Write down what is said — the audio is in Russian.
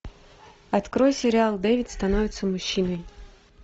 открой сериал дэвид становится мужчиной